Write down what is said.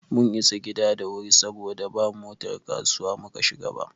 Mun isa gida da wuri saboda ba motar kasuwa muka shiga ba.